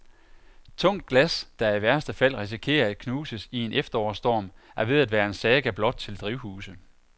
Tungt glas, der i værste fald risikerer at knuses i en efterårsstorm, er ved at være en saga blot til drivhuse.